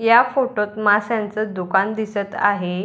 या फोटो त माशांच दुकान दिसत आहे.